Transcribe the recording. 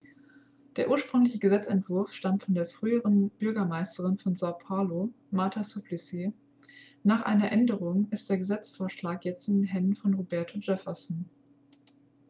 der ursprüngliche gesetzentwurf stammt von der früheren bürgermeisterin von são paulo marta suplicy. nach einer änderung ist der gesetzesvorschlag jetzt in den händen von roberto jefferson